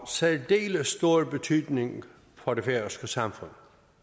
særdeles stor betydning for det færøske samfund